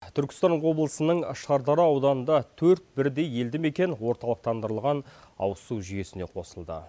түркістан облысының шардара ауданында төрт бірдей елдімекен орталықтандырылған ауызсу жүйесіне қосылды